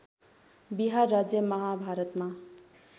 बिहार राज्य माभारतमा